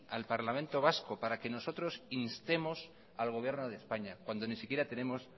al parlamento vasco para que nosotros instemos al gobierno de españa cuando ni siquiera tenemos